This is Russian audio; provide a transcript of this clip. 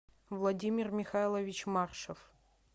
владимир михайлович маршев